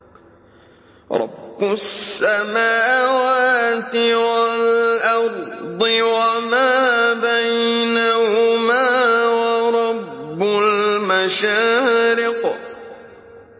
رَّبُّ السَّمَاوَاتِ وَالْأَرْضِ وَمَا بَيْنَهُمَا وَرَبُّ الْمَشَارِقِ